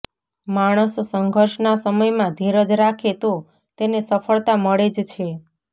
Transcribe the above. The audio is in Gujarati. માણસ સંઘર્ષના સમયમાં ધીરજ રાખે તો તેને સફળતા મળે જ છે